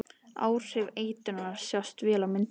Áhrif eitrunarinnar sjást vel á myndunum.